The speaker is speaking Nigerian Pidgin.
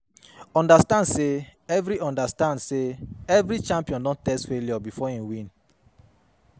Understand say every Understand say every champion don taste failure before im win